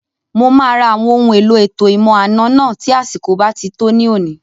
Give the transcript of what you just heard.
Mo máa ra àwọn ohun èlò ètò ìmọ̀-àna náà tí àsìkò bá ti tó ní òní